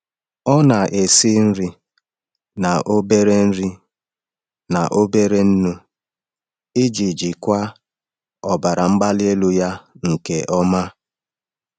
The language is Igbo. Ọ na-esi nri na obere nri na obere nnu iji jikwaa ọbara mgbali elu ya nke ọma.